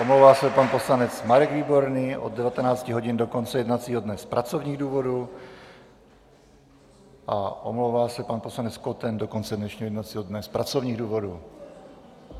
Omlouvá se pan poslanec Marek Výborný od 19. hodin do konce jednacího dne z pracovních důvodů a omlouvá se pan poslanec Koten do konce dnešního jednacího dne z pracovních důvodů.